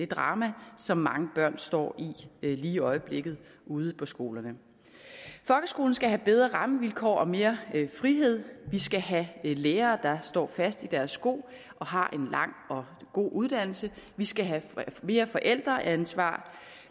drama som mange børn står i lige i øjeblikket ude på skolerne folkeskolen skal have bedre rammevilkår og mere frihed vi skal have lærere der står fast i deres sko og har en lang og god uddannelse vi skal have mere forældreansvar